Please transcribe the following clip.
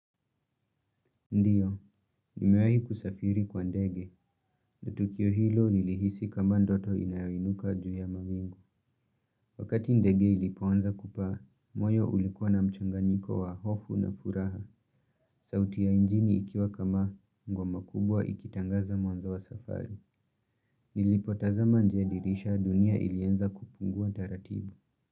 Ndiyo, nimewayi kusafiri kwa ndege na tukio hilo nilihisi kama ndoto inayoinuka juu ya mawingu. Wakati ndege ilipoanza kupaa, moyo ulikuwa na mchanganyiko wa hofu na furaha, sauti yainjini ikiwa kama ngoma kubwa ikitangaza mwanzo wa safari. Nilipo tazama nje ya dirisha dunia ilianza kupungua taratibu.